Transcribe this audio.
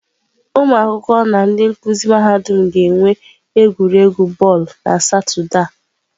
Ụmụ akwụkwọ na ndị nkuzi mahadum ga-enwe egwuregwu bọọlụ na Satọde a.